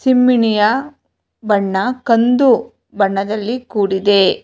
ತಿಮ್ಮಣಿಯ ಬಣ್ಣ ಕಂದು ಬಣ್ಣದಲ್ಲಿ ಕೂಡಿದೆ.